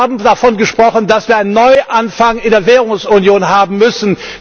Sie haben davon gesprochen, dass wir einen Neuanfang in der Währungsunion haben müssen.